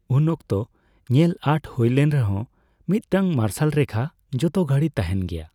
ᱩᱱ ᱚᱠᱛᱚ ᱧᱮᱞ ᱟᱸᱴ ᱦᱳᱭ ᱞᱮᱱ ᱨᱮᱦᱚᱸ, ᱢᱤᱫᱴᱟᱝ ᱢᱟᱨᱥᱟᱞ ᱨᱮᱠᱷᱟ ᱡᱷᱚᱛ ᱜᱷᱟᱹᱲᱤ ᱛᱟᱦᱮᱸᱱ ᱜᱮᱭᱟ ᱾